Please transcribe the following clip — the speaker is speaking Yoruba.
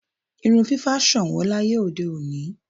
Irun fífá ṣọ̀nwọ́n láyé òde òní.